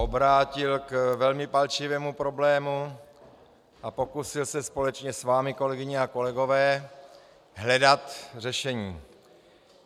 - obrátil k velmi palčivému problému a pokusil se společně s vámi, kolegyně a kolegové, hledat řešení.